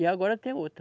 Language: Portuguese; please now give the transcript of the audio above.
E agora tem outra.